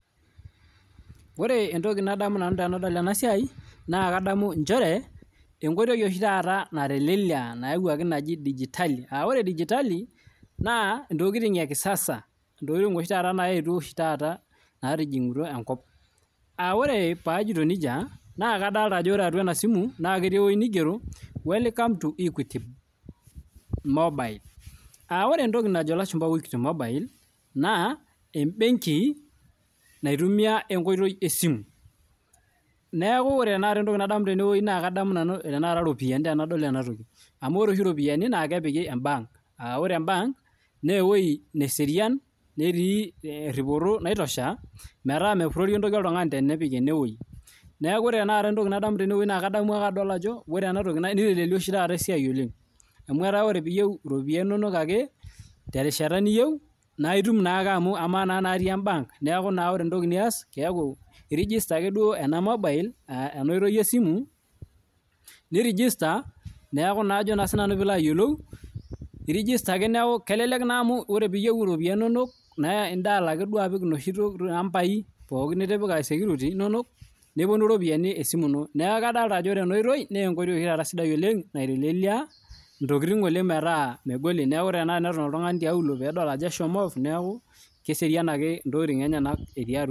Ore entoki nadamu nanu tenadol enasiai naa entoki nayawuaki oshi taata pee eitelelek asiai ntokitin edigitali ntokitin nayetuo oshi taa enkop aa ore paa ajoito nejia naa ore ena simu naa kigero[welcome to equity mobile aa ore entoki najo elashumba equity mobile naa ee[benki naitumia enkoitoi ee simu neeku ore entoki nadamu tene naa kadamu eropiani amu ore oshi eropiani naa kepiki ebank aa ore ebank naa ewueji neserian netii teripoto naitosha neeku mepurorii entoki oltung'ani tenepiki enewueji ore tanakata entoki nadamu tenadol ena toki na etelelia oshi taata esiai ol ng amu etaa teniyieu eropiani enono terishata pookin naa etum ake amu emaa naa eropiani natii ebank neeku ore enias naa pee register mobile aa ena oitoi esimu niregister neeku kelelek amu ore pee eyieu eropiani enono naa edial ake apik enoshi ambia pookin nitipika security nepuonu eropiani esimu enoneeku kadolita Ajo ore ena oitoi naa enkoitoi naitelelia ntokitin metaa megoli neeku teneton oltung'ani tiauluo peedol Ajo eshomo off neeku keserian ake ntokitin enyena